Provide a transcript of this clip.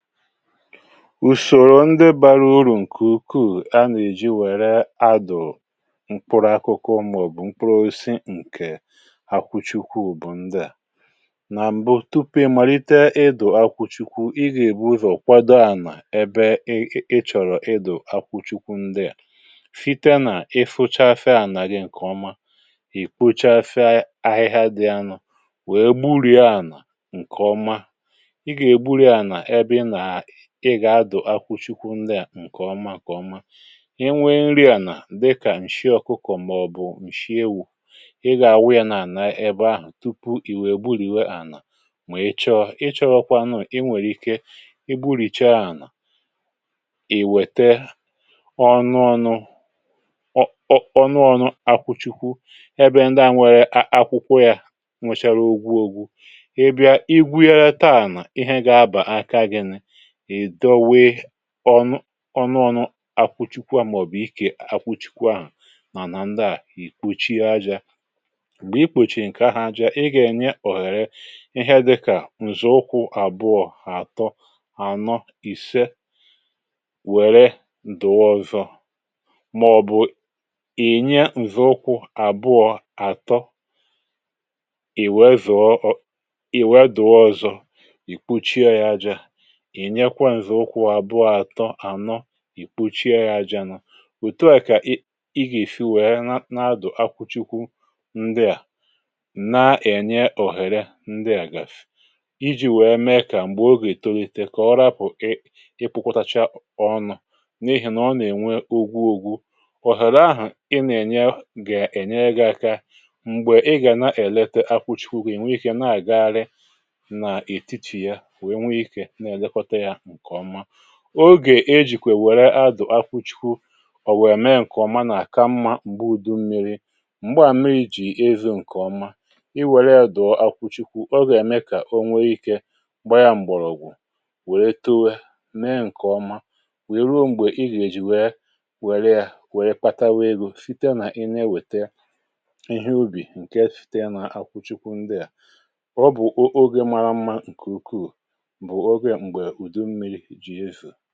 ùsòrò ndị bȧrȧ urù ǹkè ukwu̇ a nà-èji wère adụ̀ mkpụrụ akụkụ ọma ọ̀ bụ̀ mkpụrụosi ǹkè akwụchukwu bụ̀ ndịà nà mbụ tupu ị màlite edò akwụchukwu ị gà-èbu ụzọ̀ kwado à nà ebe ị ị chọ̀rọ̀ ịdụ̀ akwụchukwu ndịà fite nà ị fụchafịa ànàghị ǹkè ọma ì kpụchafịa ahịhịa dị anụ̇ wee gburìa ànà ǹkè ọma um ị gà-adụ̀ akwụchikwụ ndị à ǹkè ọma kà ọma ị nwee nri ànà dịkà ǹshị ọkụkọ̀ màọbụ̀ ǹshị ewu̇ ị gà-àwụ yȧ n’àna ebe ahụ̀ tupu ì wèe gburìwe ànà mà ị chọ i chọọ kwa anȧ i nwèrè ike i gburìcha ànà ì wète ọnụ ọnụ ọ̀ nụ ọnụ akwụchikwu ebe ndị à nwere akwụkwọ yȧ nwòchàrà ogwu ogwu ị bịa i gwegharita ànà ihe gà-abà aka gịnị ì dọwee ọnụ ọnụ̇ akwụchikwa màọ̀bụ̀ ikè akwụchikwa à nà nà ǹdeà ì kpuchie ajȧ ì kpùchì nkè ahụ̇ ajȧ um ị gà-ènye òghère ihe à dịkà ǹzọ̀ụkwụ àbụọ̇ àtọ ànọ ìse wère ǹdụ̀ọ ọzọ màọbụ̀ ì nye ǹzọ̀ụkwụ àbụọ̇ àtọ i wèe dụ̀ọ ọzọ ì kpuchie yȧ ajȧ ìkpuchie ya ajȧ nà òtù a kà i gà-èfi wèe na-adụ̀ akwụchikwu ndịà na-ènye òhèrè ndịà gà-àfù iji̇ wèe mee kà m̀gbè o gà-ètolite kà ọ rapụ̀ ị ịkpụ̇kwọtachaa ọnụ̇ n’ihì nà ọ nà-ènwe ogwu ogwu òhèrè ahụ̀ ị nà-ènye gà-ènye gị̇ aka m̀gbè ị gà na-èlite akwụchikwu gị̀ nwee ikė na-àgagharị ogè ejìkwè wère adụ̀ akwụchikwụ ọ̀ wèrè mee ǹkè ọma nà-àka mmȧ m̀gbe udu mmiri̇ m̀gbe à mmiri̇ jì ezù ǹkè ọma i wère à dụ̀ akwụchikwụ, ogè à mèe kà o nwere ikė gba ya m̀gbọ̀rọ̀ ògwù wère towe mèe ǹkè ọma wère ruo m̀gbè i gà-èji wère wère pata wee um gùnye site nà i na-ewete ihe ubì ǹke site n’akwụchikwụ ndị à ọ bụ̀ ogè maara mmȧ ǹkè ukwuù ǹkè ọ̀zọ̀ kà ọ̀tutu ahụ̀